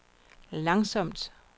langsomt